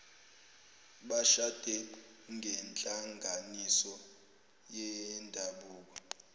bashade ngenhlanganiso yendabuko